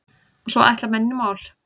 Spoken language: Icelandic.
Og svo ætla menn í mál.